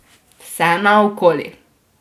Vse naokoli.